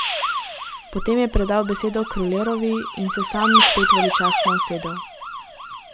Potem je predal besedo Krulerovi in se sam spet veličastno usedel.